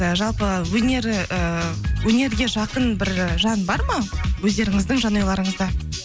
і жалпы өнер ііі өнерге жақын бір жан бар ма өздеріңіздің жанұяларыңызда